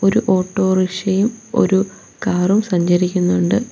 ഒരു ഓട്ടോറിക്ഷ യും ഒരു കാറും സഞ്ചരിക്കുന്നുണ്ട് വ--